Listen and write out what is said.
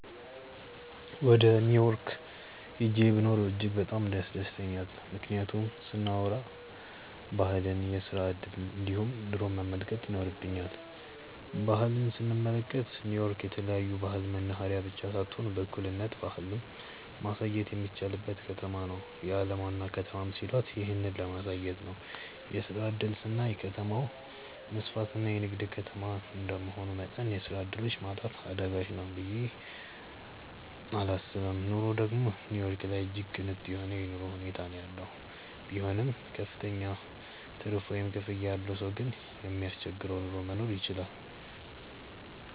ወደ ኒው ዮርክ ሂጄ ብኖር እጅግ በጣም ያስደስተኛል። ምክንያቱን ስናዎራ ባህልን፣ የስራ እድልን እንዲሁም ኑሮን መመልከት ይኖርብኛል። ባህል ስንመለከት ኒው ዮርክ የተለያዮ ባህል መናህሬያ ብቻ ሳትሆን በእኩልነት ባህልን ማሳየትም የሚቻልባትም ከተማ ናት። የአለም ዋና ከተማም ሲሏት ይህንን ለማሳየት ነው። የስራ እድል ስናይ ከተማው መስፍትና የንግድ ከተማ እንደመሆኑ መጠን የስራ ዕድሎች ማጣት አዳጋች ነው ብየ እላስብም። ኑሮ ደግም ኒው ዮርክ ላይ እጅግ ቅንጡ የሆነ የኑሮ ሁኔታ ነው ያለው። ቢሆንም ክፍተኛ ትርፍ ወይም ክፍያ ያለው ሰው ግን የማያስቸግር ኑሮ መኖር ይችላል።